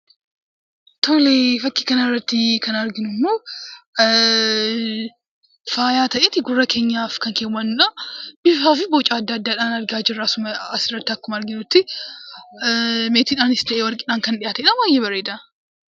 Fakkii kana irratti kan argamu immoo faayaa ta'eetu gurra keenyaaf keewwannu bifaafi boca addaa addaadhaan argaa jira. Akka asirratti argaa jirrutti meetiidhaanis ta'ee warqii baayyee bareeda.